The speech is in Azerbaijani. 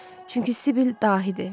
Çünki Sibyl dahidir.